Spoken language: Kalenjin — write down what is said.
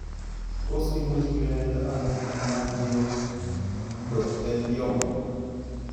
Tos imuchi kinyaita ano hemangioendothelioma?